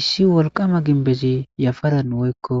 Issi wolqama ginbezi yafaran woykko